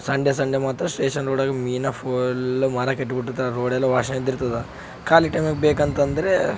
Sunday Sunday ಮಾತ್ರ station ರೋಡಾಗ ಮೀನಾ ಫುಲ್ಲ್ ಮಾರಕಿಟ್ಟಬಿರ್ತಾರ ರೊಡೆಲ್ಲ ವಾಶನೆ ಇದ್ದ ಇರತದ್‌ ಖಾಲಿ ಟೈಮ್ನಾಗ ಬೆಕು ಅಂದರ --